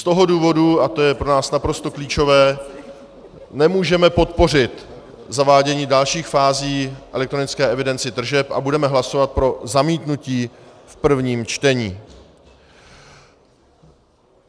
Z toho důvodu, a to je pro nás naprosto klíčové, nemůžeme podpořit zavádění dalších fází elektronické evidence tržeb a budeme hlasovat pro zamítnutí v prvním čtení.